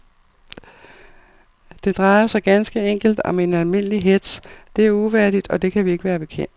Det drejer sig ganske enkelt om en almindelig hetz, det er uværdigt, og det kan vi ikke være bekendt.